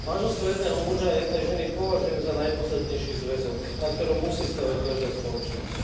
Manželstvo jedného muža a jednej ženy považujem za najpodstatnejší zväzok, na ktorom musí stavať každá spoločnosť.